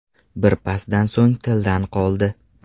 Bir pasdan so‘ng tildan qoldi.